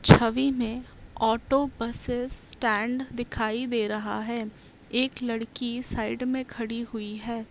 छबि में auto buses stand दिखाई दे रहा है एक लड़की साइड में खड़ी हुई है।